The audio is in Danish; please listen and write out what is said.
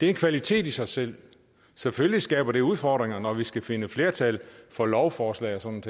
det er en kvalitet i sig selv selvfølgelig skaber det udfordringer når vi skal finde flertal for lovforslag og sådan